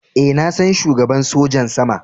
Eh, na san shugaban sojin sama.